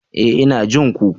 E! Ina jin ku.